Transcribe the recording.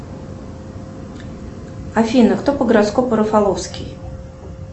афина кто по гороскопу рафаловский